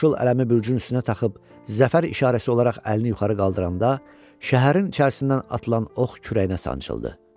Yaşıl ələmi bürcün üstünə taxıb zəfər işarəsi olaraq əlini yuxarı qaldıranda şəhərin içərisindən atılan ox kürəyinə sancıldı.